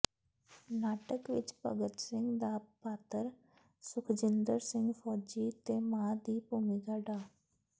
ਨਾਟਕ ਵਿੱਚ ਭਗਤ ਸਿੰਘ ਦਾ ਪਾਤਰ ਸੁੱਖਜਿੰਦਰ ਸਿੰਘ ਫੌਜੀ ਤੇ ਮਾਂ ਦੀ ਭੂਮਿਕਾ ਡਾ